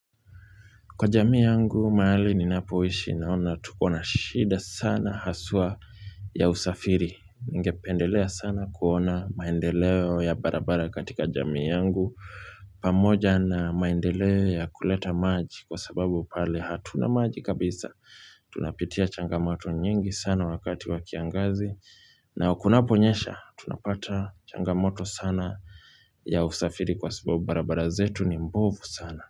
Kwa jamii yangu, mahali ninapoishi naona tukona shida sana haswa ya usafiri. Ningependelea sana kuona maendeleo ya barabara katika jamii yangu. Pamoja na maendeleo ya kuleta maji kwa sababu pale hatuna maji kabisa. Tunapitia changamoto nyingi sana wakati wakiangazi. Na kunaponyesha, tunapata changamoto sana ya usafiri kwa sababu barabara zetu ni mbovu sana.